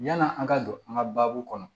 Yann'an ka don an ka baabu kɔnɔ